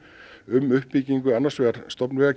um uppbyggingu annars vegar